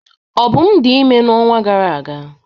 Obum dị ime n'ọnwa gara aga.